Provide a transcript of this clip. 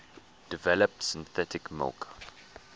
develop synthetic milk